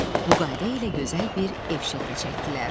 Bu qayda ilə gözəl bir ev şəkli çəkdilər.